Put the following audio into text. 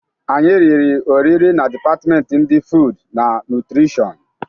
Anyị riri oriri na depatmenti ndi fud na nutrishọn.